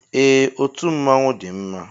Ee, otú mmọnwụ dị mma